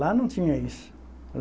Lá não tinha isso.